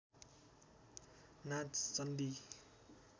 नाच चण्डी